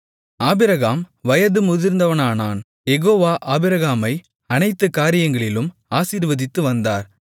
Abraham வயது முதிர்ந்தவனானான் Jehovah ஆபிரகாமை அனைத்துக் காரியங்களிலும் ஆசீர்வதித்து வந்தார்